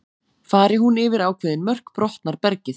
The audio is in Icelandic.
Fari hún yfir ákveðin mörk brotnar bergið.